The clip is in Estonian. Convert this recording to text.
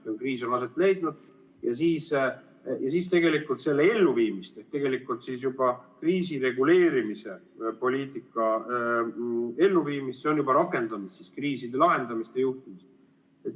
Kui kriis on aset leidnud, siis kriisireguleerimispoliitika elluviimisse on juba rakendatud kriiside lahendamise juhtimist.